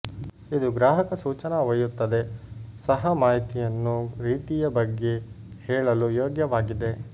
ಇದು ಗ್ರಾಹಕ ಸೂಚನಾ ಒಯ್ಯುತ್ತದೆ ಸಹ ಮಾಹಿತಿಯನ್ನು ರೀತಿಯ ಬಗ್ಗೆ ಹೇಳಲು ಯೋಗ್ಯವಾಗಿದೆ